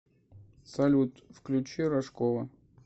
салют включи рожкова